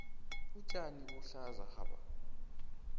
utjani buhlaza hapa